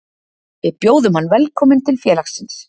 Við bjóðum hann velkominn til félagsins